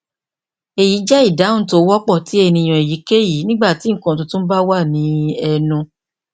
eyi jẹ idahun ti o wọpọ ti eniyan eyikeyi nigbati nkan tuntun ba wa ni ẹnu